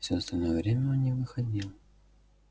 все остальное время он не выходил